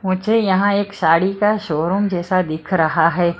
मुझे यहां एक साड़ी का शोरूम जैसा दिख रहा है।